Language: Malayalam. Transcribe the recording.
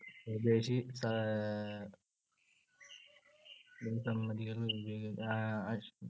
സ്വദേശി പ്ര~